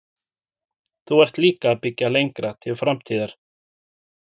Þú ert líka að byggja lengra til framtíðar?